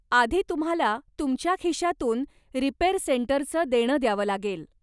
आधी तुम्हाला तुमच्या खिशातून रिपेअर सेंटरचं देणं द्यावं लागेल.